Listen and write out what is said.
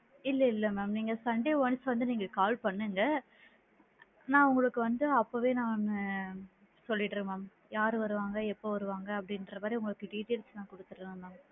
இல்ல இல்லங் ma'am நீங்க sunday once வந்து நீங்க call பண்ணுங்க நான் உங்களுக்கு வந்து அப்போவே நானு சொல்லிடுறேன் ma'am யாரு வருவாங்க, எப்போ வருவாங்க அப்படிங்கற மாதிரி உங்களுக்கு details நான் குடுத்திடுறேன் ma'am